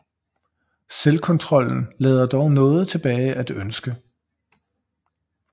Selvkontrollen lader dog noget tilbage at ønske